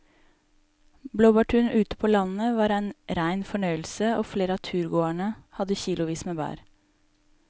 Blåbærturen ute på landet var en rein fornøyelse og flere av turgåerene hadde kilosvis med bær.